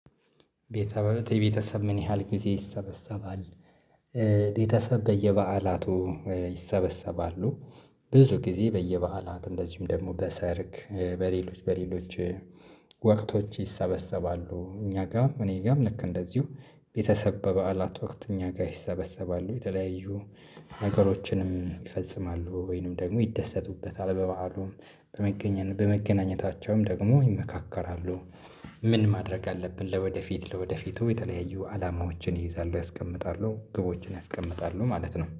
ቤተሰብ የቤተሰብ ምን ያህል ጊዜ ይሰበሰባል? ቤተሰብ በየበአላቱ ይሰበሰባሉ። ብዙ ጊዜ በየበአላት እንደዚሁም ደግሞ በሰርግ በሌሎች በሌሎች ወቅቶች ይሰበሰባሉ። እኛ ጋር እኔ ጋርም ልክ እንደዚሁ ቤተሰብ በበዓላት ወቅት እኛ ጋር ይሰበሰባሉ። የተለያዩ ነገሮችንም ይፈጽማሉ ወይንም ደግሞ ይደሰቱበታል በበዓሉም በመገናኘታቸውም ደግሞ ይመካከራሉ። ምን ማድረግ አለብን? ለወደፊት ለወደፊቱ የተለያዩ አላማዎችን ይይዛሉ ያስቀምጣሉ ግቦችን ያስቀምጣሉ ማለት ነው